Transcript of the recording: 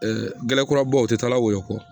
gɛlɛnkɔrɔbaw u ti taala woyo kɔ